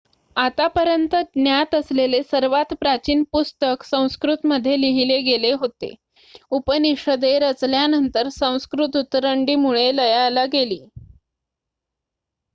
आतापर्यंत ज्ञात असलेले सर्वात प्राचीन पुस्तक संस्कृत मध्ये लिहिले गेले होते उपनिषदे रचल्यानंतर संस्कृत उतरंडी मुळे लयाला गेली